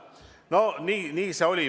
No nii see oli.